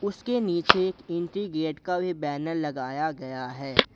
इसके नीचे एक एंट्री गेट का भी बैनर लगाया गया है।